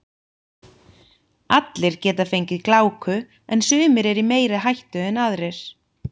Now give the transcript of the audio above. Allir geta fengið gláku en sumir eru í meiri hættu en aðrir.